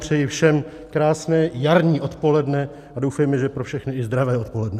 Přeji všem krásné jarní odpoledne a doufejme, že pro všechny i zdravé odpoledne.